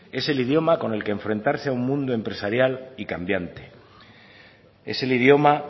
es el idioma con el que enfrentarse a un mundo empresarial y cambiante es el idioma